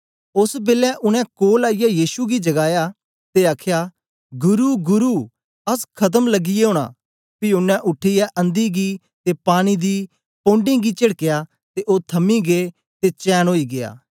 ओस बेलै उनै कोल आईयै यीशु गी जगाया ते आखया गुरु गुरु अस खत्म लगियै ओना पी ओनें उठीयै अंधी गी ते पानी दी पौडें गी चेडकया ते ओ थमी गै ते चैन ओई गीया